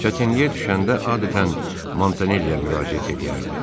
Çətinliyə düşəndə adətən Montanelliyə müraciət eləyərdi.